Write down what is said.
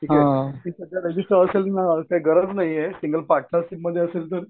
ठीक आहे रजिस्टर असेलं ना काही गरज नाहीये सिंगल पाटनरशिपमध्ये नाहीये.